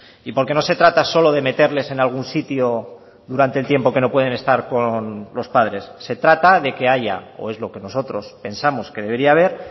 y porque no se trata solo de meterles en algún sitio durante el tiempo que no pueden estar con los padres se trata de que haya o es lo que nosotros pensamos que debería haber